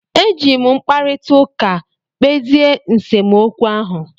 E ji m mkparịta ụka kpezie nsemokwu ahụ.